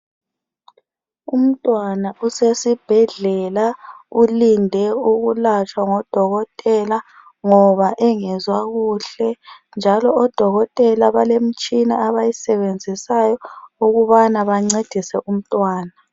Umntwana usesibhedlela, ulinde ukulatshwa ngudokotela ngoba engezwa kuhle njalo odokotela balemitshina abayisebenzisayo ukubana bancedise umtwana.